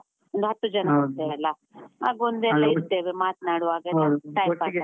ಒಂದು ಹತ್ತು ಜನ ಹೋಗ್ತೇವಲ್ಲ ಆಗ ಒಂದು ಇರ್ತೇವೆ ಒಂದು ಮಾತ್ನಾಡುವಾಗಲ್ಲ, .